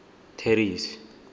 terry's